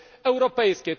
europejskie.